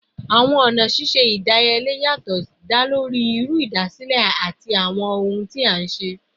Awọn ọna ṣiṣe idiyele yatọ da lori iru idasile ati awọn ohun ti a nṣe